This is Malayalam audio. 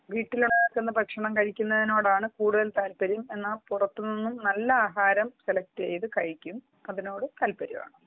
വീട്ടിൽ ഉണ്ടാകുന്ന ഭക്ഷണമാണ് കൂടുതൽ താല്പര്യം എന്നാൽ പുറത്ത് നിന്ന് നല്ല ആഹാരം സെലക്ട് ചെയ്ത് കഴിക്കും അതിനോടും താല്പര്യമാണ്